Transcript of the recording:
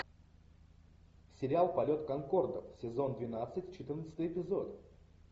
сериал полет конкордов сезон двенадцать четырнадцатый эпизод